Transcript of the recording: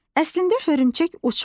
Əslində hörümçək uçmur.